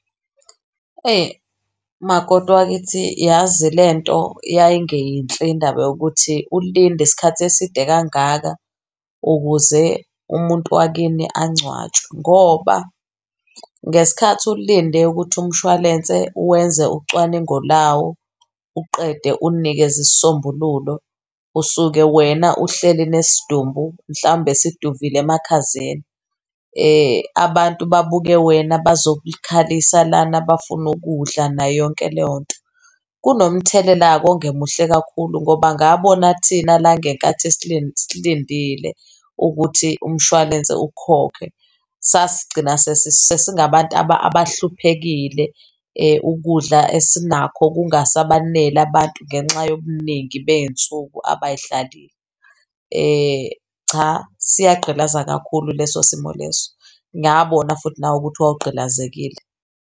Makoti wakithi, yazi lento yayingeyinhle indaba yokuthi ulinde isikhathi eside kangaka, ukuze umuntu wakini angcwatshwe ngoba ngesikhathi ulinde ukuthi umshwalense wenze ucwaningo lawo uqede uninikeze isisombululo, usuke wena uhleli nesidumbu mhlawumbe siduvile emakhazeni. Abantu babuke wena, bazokukhalisa lana, bafuna ukudla nayo yonke leyo nto. Kunomthelela ongemuhle kakhulu, ngoba ngabona thina la ngenkathi silindile ukuthi umshwalense ukhokhe, sasigcina sesingabantu abahluphekile ukudla esinakho kungasabaneli abantu ngenxa yobuningi bey'nsuku abay'hlalile. Cha siyagqilaza kakhulu leso simo leso. Ngabona futhi nawe ukuthi wawugqilazekile.